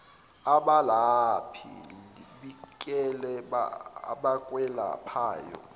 abelaphi bikela abakwelaphayo